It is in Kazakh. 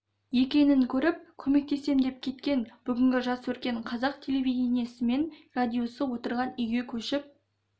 екенін көріп көмектесем деп кеткен бүгін жас өркен қазақ телевидениесі мен радиосы отырған үйге көшіп